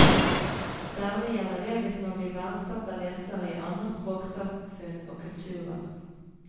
Særlig gjelder det hvis man blir verdsatt av lesere i andre språksamfunn og kulturer.